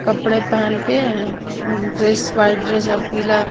कपड़े पहन के अ ड्रेस वाइट ड्रेस और पीला --